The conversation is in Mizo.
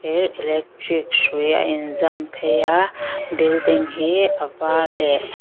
thir electric hrui a inzam phei a building hi a var leh--